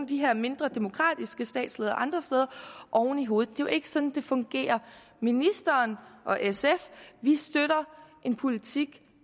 de her mindre demokratiske statsledere andre steder oven i hovedet det jo ikke sådan det fungerer ministeren og sf støtter en politik